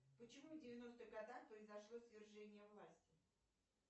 почему в девяностых годах произошло свержение власти